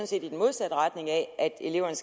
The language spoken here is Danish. set i den modsatte retning af at eleverne